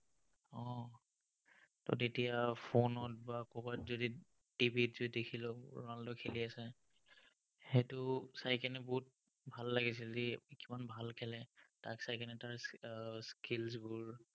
তেতিয়া phone ত বা কৰবাত যদি TV যদি দেখিলো ronaldo এ খেলি আছে, সেইটো চাই বহুত ভাল লাগিছিল, সি কিমান ভাল খেলে। তাক চাই তাৰ এৰ skills বোৰ